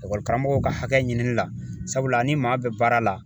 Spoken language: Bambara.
karamɔgɔw ka hakɛ ɲini la sabula ni maa bɛ baara la